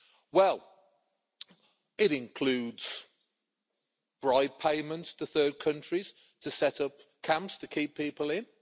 Well, it includes bribe payments to third countries to set up camps to keep people in.